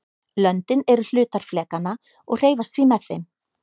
löndin eru hlutar flekanna og hreyfast því með þeim